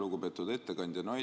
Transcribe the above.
Lugupeetud ettekandja!